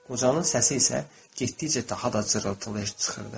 Qocanın səsi isə getdikcə daha da cırıltılı eşidilirdi.